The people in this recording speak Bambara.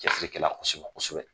Cɛsiri kɛ la kosɛbɛ kosɛbɛ.